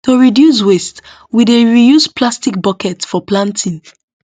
to reduce waste we dey reuse plastic bucket for planting